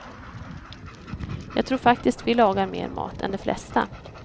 Jag tror faktiskt vi lagar mer mat än de flesta.